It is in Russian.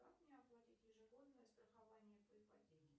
как мне оплатить ежегодное страхование по ипотеке